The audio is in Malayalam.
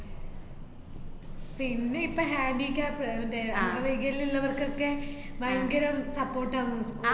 പിന്നെ ഇപ്പോ handicap അഹ് മറ്റേ അംഗവൈകല്യം ഇള്ളവര്‍ക്കൊക്കെ ഭയങ്കരം support ആന്ന്.